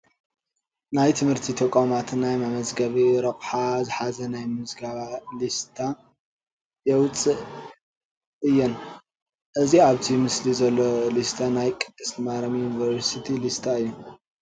ናይ ትምህርቲ ተቋማት ናይ መመዝገቢ ረቑሓ ዝሓዘ ናይ ምዝገባ ሊስታ የውፅአ እየን፡፡ እዚ ኣብቲ ምስሊ ዘሎ ሊስታ ናይ ቅድስት ማርያም ዩኒቨርሲቲ ሊስታ እዩ፡፡